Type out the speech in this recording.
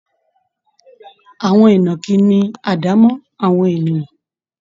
Àwọn ìnàkí ní àwọn àdámọ́ ènìyàn